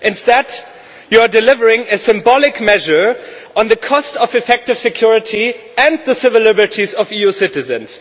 Instead, you are delivering a symbolic measure at the cost of effective security and the civil liberties of EU citizens.